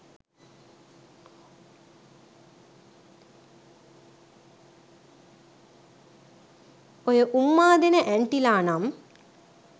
ඔය උම්මා දෙන ඇන්ටිලා නම්